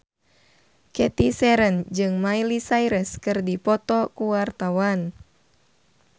Cathy Sharon jeung Miley Cyrus keur dipoto ku wartawan